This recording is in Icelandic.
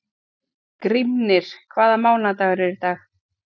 Grímnir, hvaða mánaðardagur er í dag?